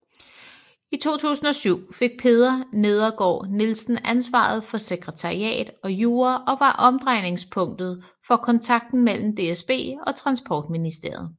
I 2007 fik Peder Nedergaard Nielsen ansvaret for Sekretariat og Jura og var omdrejningspunktet for kontakten mellem DSB og Transportministeriet